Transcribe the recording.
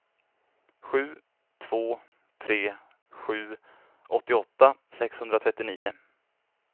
sju två tre sju åttioåtta sexhundratrettionio